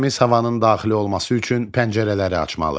Təmiz havanın daxil olması üçün pəncərələri açmalı.